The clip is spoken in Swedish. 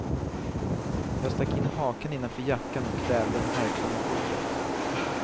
Jag stack in hakan innanför jackan och kvävde en harkling i fodret.